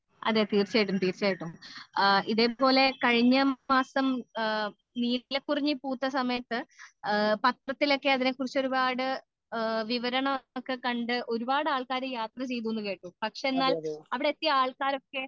അതേ തീർച്ചയായിട്ടും തീർച്ചയായിട്ടും ആ ഇതേപോലെ കഴിഞ്ഞ മാസം നീലക്കുറിഞ്ഞി പൂത്ത സമയത്ത് പാത്രത്തിൽ ഒക്കെ അതിനെകുറിച്ച് ഒരുപാട് വിവരം ഒക്കെ കണ്ട ഒരുപാട് ആൾക്കാർ യാത്ര ചെയ്തു എന്ന് കേട്ടു പക്ഷെ എന്നാൽ അവിടെ എത്തിയ ആൾക്കാർ ഒക്കെ